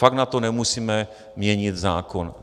Fakt na to nemusíme měnit zákon.